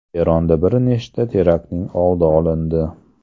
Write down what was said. Eronda bir nechta teraktning oldi olindi.